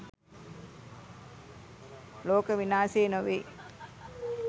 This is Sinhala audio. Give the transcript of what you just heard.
ලෝක විනාසෙ නෙවෙයි